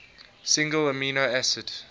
single amino acid